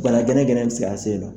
gɛrɛgɛrɛ in bi se k'an sen yennɔ nɔ.